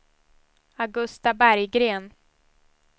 Augusta Berggren